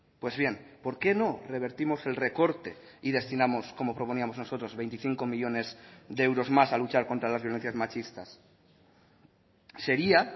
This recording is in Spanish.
pues bien por qué no revertimos el recorte y destinamos como proponíamos nosotros veinticinco millónes de euros más a luchar contra las violencias machistas sería